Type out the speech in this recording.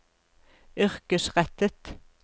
yrkesrettet